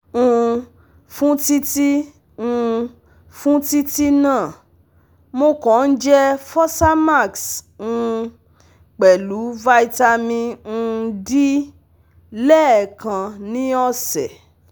um Fún títí um Fún títí náà, mo kàn ń jẹ́ Fosamax um pelu Vitamin um D lẹ́ẹkan ni ọ̀sẹ̀